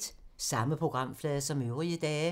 Samme programflade som øvrige dage